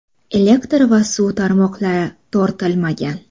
Elektr va suv tarmoqlari tortilmagan.